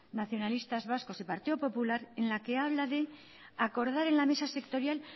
nacionalistas vascos y partido popular en la que habla de acordar en la mesa sectorial